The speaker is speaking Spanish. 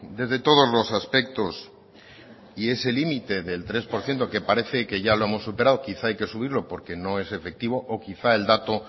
desde todos los aspectos y ese límite del tres por ciento que parece que ya lo hemos superado quizá hay que subirlo porque no es efectivo o quizá el dato